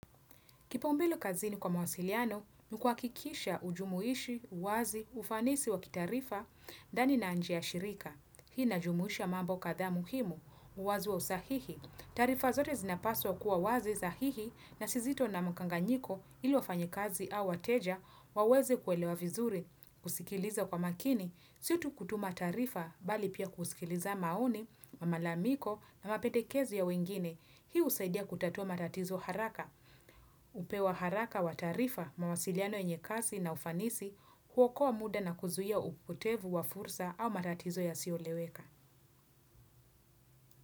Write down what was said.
Kipaumbele kazini kwa mawasiliano, ni kuhakikisha ujumuishi, uwazi, ufanisi wa kitaarifa, ndani na njia shirika. Hii najumuisha mambo kadhaa muhimu, uwazi wa usahihi. Taarifa zote zinapaswa kuwa wazi, sahihi, na si zito na mkanganyiko ili wafanyakazi au wateja, waweze kuelewa vizuri. Kusikiliza kwa makini, si tu kutuma taarifa, bali pia kusikiliza maoni, malalamiko na mapendekezi ya wengine. Hii husaidia kutatua matatizo haraka. Upeo wa haraka wa taarifa, mawasiliano yenye kasi na ufanisi kuokoa muda na kuzuia upotevu wa fursa au matatizo yasiyoeleweka.